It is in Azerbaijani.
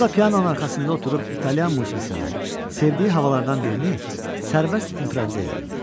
O da pianonun arxasında oturub İtalyan musiqisindən sevdiyi havalardan birini sərbəst improvizə eləyirdi.